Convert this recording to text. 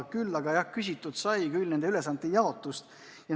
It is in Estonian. Küll aga sai küsitud nende ülesannete jaotuse kohta.